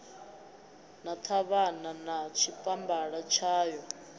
na ṱhavhana na tshipambala tshayo